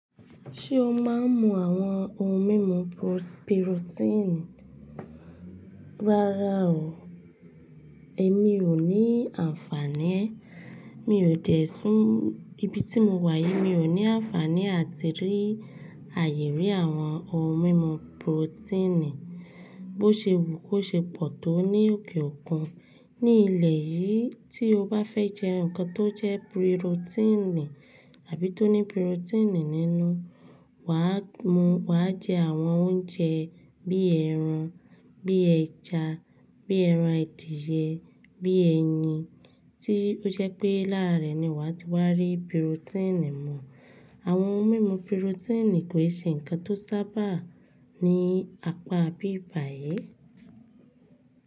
Ṣé o máa ń mu àwọn ohun mímu pirotíìnì rárá o. Èmi ò ní àǹfààní ẹ́. Mi ò tẹ̀sùn ibi tí mo wà yìí mi ò ní àǹfààní àti rí àyè rí àwọn ohun mímu pirotíìnì. Bo ṣe wù kó ṣe pọ̀ tó ní òkè òkun. Ní ilẹ̀ yìí tí o bá fẹ́ jẹ nǹkan tó jẹ́ pirotíìnì àbí tó ní pirotíìnì nínú, wà á mu wà á jẹ àwọn oúnjẹ bíi ẹran, bíi ẹja, bíi ẹran adìẹ, bíi ẹyin tí ó jẹ́ pé láàrẹ́ ni wà á ti wà á rí pirotíìnì mu. Àwọn ohun mímu pirotíìnì kò ṣe nǹkan tó sábà ní apá bíbàyè.